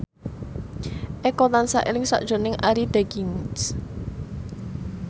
Eko tansah eling sakjroning Arie Daginks